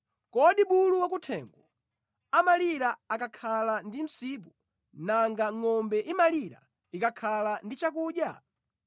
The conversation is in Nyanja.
Kodi bulu wakuthengo amalira akakhala ndi msipu, nanga ngʼombe imalira ikakhala ndi chakudya?